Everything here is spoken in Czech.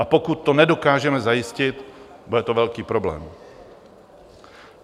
A pokud to nedokážeme zajistit, bude to velký problém.